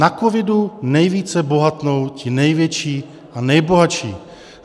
Na covidu nejvíce bohatnou ti největší a nejbohatší.